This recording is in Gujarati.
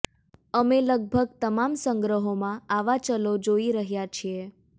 અમે લગભગ તમામ સંગ્રહોમાં આવા ચલો જોઈ રહ્યાં છીએ